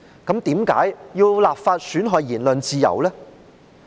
德國為何要立法來損害言論自由呢？